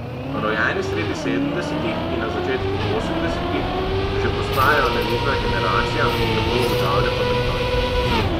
Rojeni sredi sedemdesetih in na začetku osemdesetih že postajajo nevidna generacija, tako ugotavlja komentator.